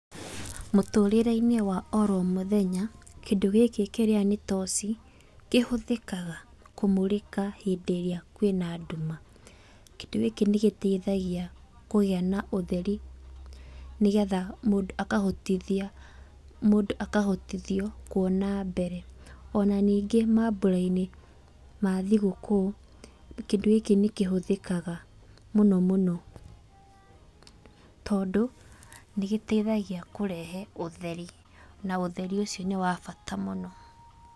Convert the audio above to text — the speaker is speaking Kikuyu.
Mũtũũrĩre-inĩ wa oro mũthenya, kĩndũ gĩkĩ kĩrĩa nĩ toci, kĩhũthĩkaga kũmũrĩka hindĩ ĩrĩa kwĩna ndũma. Kĩndũ gĩkĩ nĩ gĩteithagia kũgĩa na ũtheri nĩgetha mũndũ akahotithio kũona mbere, ona nĩngĩ maambura-inĩ ma thigũkũ, kindũ gĩkĩ nĩ kĩhũthikaga mũno mũno, tondũ nĩ gĩteithagia kũrehe ũtheri na ũtheri ũcio nĩ wa bata mũno.